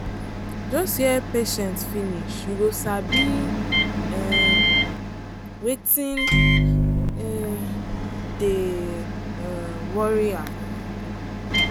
just hear patient finish you go sabi um wetin um dey um worry am.